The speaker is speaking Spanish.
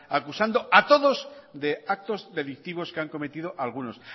acusando a todos de actos delictivos que han cometido algunos